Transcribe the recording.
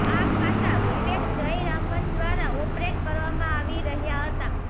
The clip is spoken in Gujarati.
આ ખાતા વિવેક જયરામન દ્વારા ઓપરેટ કરવામાં આવી રહૃાા હતા